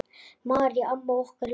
Marý amma okkar er látin.